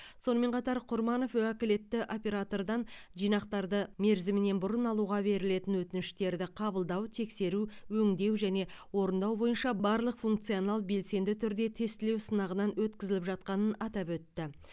сонымен қатар құрманов уәкілетті оператордан жинақтарды мерзімінен бұрын алуға берілетін өтініштерді қабылдау тексеру өңдеу және орындау бойынша барлық функционал белсенді түрде тестілеу сынағынан өткізіліп жатқанын атап өтті